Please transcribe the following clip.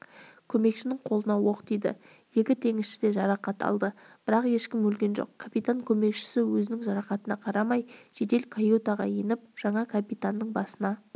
көмекшінің қолына оқ тиді екі теңізші де жарақат алды бірақ ешкім өлген жоқ капитан көмекшісі өзінің жарақатына қарамай жедел каютаға еніп жаңа капитанның басына